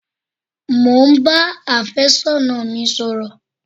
Mo ń ba àfẹ́sọ́nà mi sọ̀rọ̀